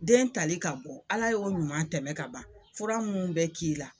Den tali ka bɔ Ala y'o ɲuman tɛmɛn ka ban fura minnu bɛ k'i la.